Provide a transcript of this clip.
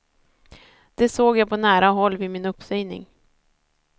Det såg jag på nära håll vid min uppsägning.